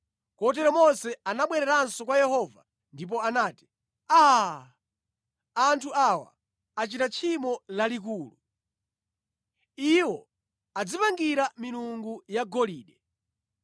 Kotero Mose anabwereranso kwa Yehova ndipo anati, “Aa! Anthu awa achita tchimo lalikulu! Iwo adzipangira milungu yagolide.